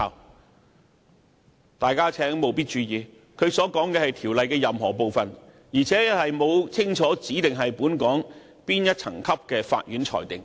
請大家務必注意，他所說的是條例任何部分，而且沒有清楚指明是本港哪層級法院所作的裁決。